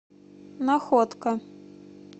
находка